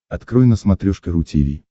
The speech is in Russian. открой на смотрешке ру ти ви